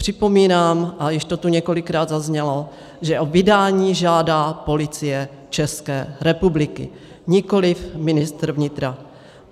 Připomínám, a již to tu několikrát zaznělo, že o vydání žádá Policie České republiky, nikoliv ministr vnitra.